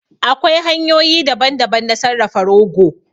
Akwai hanyoyi daban daban na sarrafa rogo